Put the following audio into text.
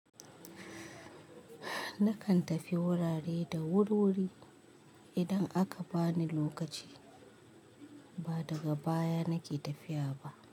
Nakan tafi wurare da wuriwuri idan aka bani lokaci, ba daga baya nake tafiya ba.